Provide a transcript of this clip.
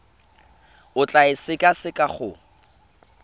o tla e sekaseka go